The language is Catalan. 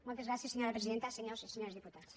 moltes gràcies senyora presidenta senyores i senyors diputats